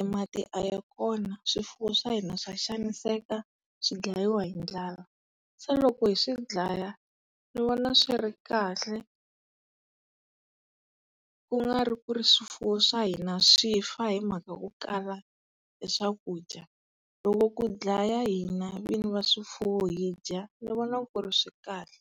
e mati a ya kona, swifuwo swa hina swa xaviseka swi dlayiwa hi ndlala. Se loko hi swi dlaya, ni vona swi ri kahle. Kungari ku ri swifuwo swa hina swi fa hi mhaka yo kala e swakudya. Loko ku dlaya hina vini va swifuwo hi dya, ni vona ku ri swikahle.